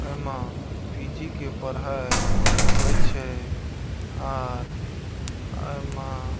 एमे पी.जी. के पढ़ाय होय छै आर ए मा --